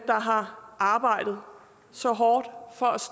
har arbejdet så hårdt for